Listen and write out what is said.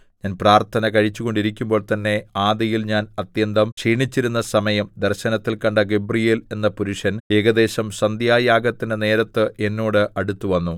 ഞാൻ പ്രാർത്ഥന കഴിച്ചുകൊണ്ടിരിക്കുമ്പോൾ തന്നെ ആദിയിൽ ഞാൻ അത്യന്തം ക്ഷീണിച്ചിരുന്ന സമയം ദർശനത്തിൽ കണ്ട ഗബ്രീയേൽ എന്ന പുരുഷൻ ഏകദേശം സന്ധ്യായാഗത്തിന്റെ നേരത്ത് എന്നോട് അടുത്തുവന്നു